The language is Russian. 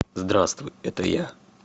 здравствуй это я